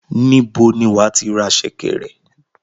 Níbo ni wàá tí ra sẹ̀kẹ̀rẹ̀?